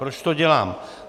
Proč to dělám?